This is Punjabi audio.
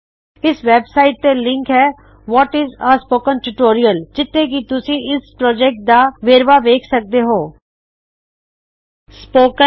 ਇਸ ਵੈਬਸਾਇਟ ਤੇ ਲਿਂਕ ਹੈ what is a spoken tutorial ਜਿੱਥੇ ਕਿ ਤੁਸੀ ਇਸ ਪ੍ਰਾਜੈਕਟ ਦਾ ਵੇਰਵਾ ਵੇਖ ਸਕਦੇ ਹੋਂ